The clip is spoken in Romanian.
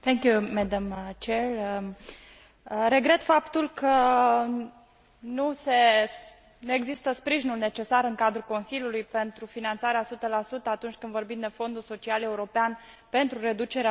Regret faptul că nu există sprijinul necesar în cadrul Consiliului pentru finanțarea 100 atunci când vorbim de Fondul Social European pentru reducerea șomajului, mai ales în această perioadă de criză.